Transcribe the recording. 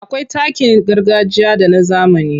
Akwai takin gargajiya da na zamani.